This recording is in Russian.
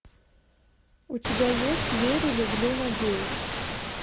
у тебя есть верю люблю надеюсь